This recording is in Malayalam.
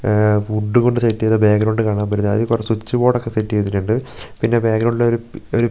ആഹ് വുഡ് കൊണ്ട് സെറ്റ് ചെയ്ത ബാക്ക് ഗ്രൗണ്ട് കാണാൻ പറ്റുന്നു അതി കൊറെ സ്വിച്ച് ബോർഡ് ഒക്കെ സെറ്റ് ചെയ്തിട്ടുണ്ട് പിന്നെ ബാക്ക്ഗ്രൗണ്ടില് ഒരു അഹ് --